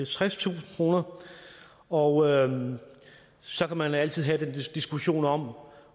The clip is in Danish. tredstusind kr og så kan man altid have den diskussion om